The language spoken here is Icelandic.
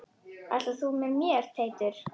Ætlar þú með mér Teitur!